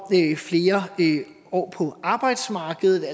flere år på arbejdsmarkedet